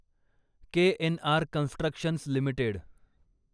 KNR constructions limited